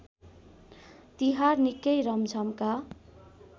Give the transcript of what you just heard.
तिहार निकै रमझमका